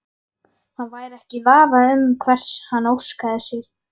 Hann væri ekki í vafa um hvers hann óskaði sér.